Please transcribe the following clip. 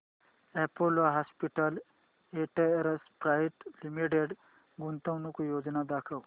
Apollo Hospitals Enterprise Limited गुंतवणूक योजना दाखव